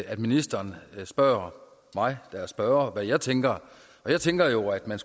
at ministeren spørger mig der er spørger om hvad jeg tænker jeg tænker jo at man